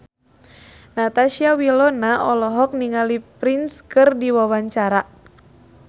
Natasha Wilona olohok ningali Prince keur diwawancara